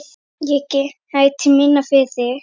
Ég gæti minna, fyrir þig.